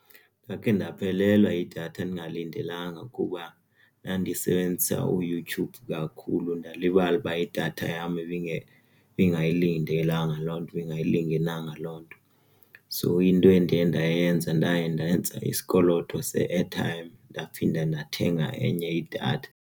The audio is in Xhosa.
Ndakhe ndaphelelwa yidatha ndingalindelanga kuba ndandisebenzisa uYouTube kakhulu ndalibala uba idatha yam ibe ibingayilindelanga loo nto ingayilingenalanga loo nto. So into endaye ndayenza ndaye ndenza isikoloto se-airtime ndaphinde ndathenga enye idatha.